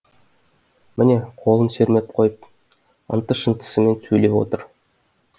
міне қолын сермеп қойып ынты шынтысымен сөйлеп отыр